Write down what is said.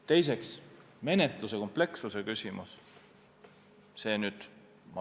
Teiseks, menetluse komplekssus.